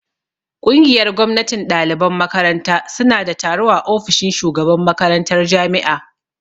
Ƙungiyar gwamnatin ɗaliban makaranta suna da taro a ofishin shugaban makarantar jami'a